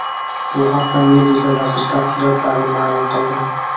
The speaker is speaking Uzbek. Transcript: Bu haqda Meduza nashri tafsilotlarni ma’lum qildi .